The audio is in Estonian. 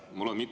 Suur tänu!